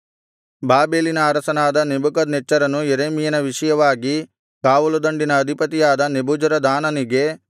ಬಾಬೆಲಿನ ಅರಸನಾದ ನೆಬೂಕದ್ನೆಚ್ಚರನು ಯೆರೆಮೀಯನ ವಿಷಯವಾಗಿ ಕಾವಲುದಂಡಿನ ಅಧಿಪತಿಯಾದ ನೆಬೂಜರದಾನನಿಗೆ